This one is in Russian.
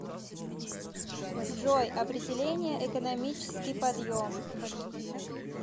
джой определение экономический подъем